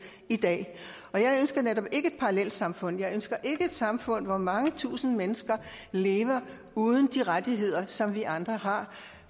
i dag jeg ønsker netop ikke et parallelsamfund jeg ønsker ikke et samfund hvor mange tusinde mennesker lever uden de rettigheder som vi andre har